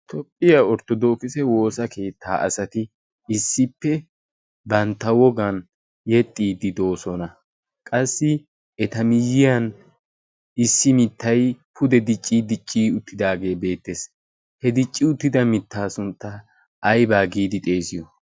toophphiyaa orttodookise woosa keettaa asati issippe bantta wogan yexxiiddi doosona qassi eta miyyiyan issi mittai pude dicci dicci uttidaagee beettees. he dicci uttida mittaa sunttaa aybaa giidi xeesiyo